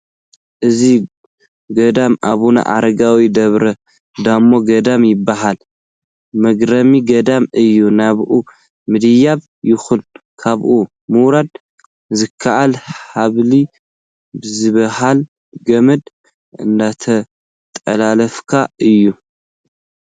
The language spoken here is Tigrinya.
እዚ ገዳም ኣቡነ ኣረጋዊ ደብረዳሞ ገዳም ይበሃል፡፡ መግረሚ ገዳም እዩ፡፡ ናብኡ ምድያብ ይኹን ካብኡ ምውራድ ዝከኣል ሃብሊ ብዝበሃል ገመድ እናተንጠላጠልካ እዩ፡፡